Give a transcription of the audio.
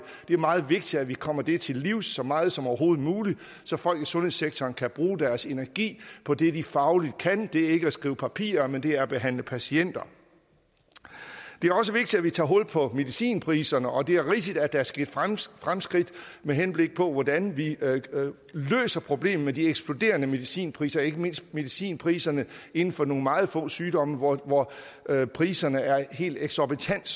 det er meget vigtigt at vi kommer det til livs så meget som overhovedet muligt så folk i sundhedssektoren kan bruge deres energi på det de fagligt kan det er ikke at skrive papirer men det er at behandle patienter det også vigtigt at vi tager hul på medicinpriserne og det er rigtigt at der er sket fremskridt fremskridt med henblik på hvordan vi løser problemerne med de eksploderende medicinpriser ikke mindst medicinpriserne inden for nogle meget få sygdomme hvor hvor priserne er helt eksorbitant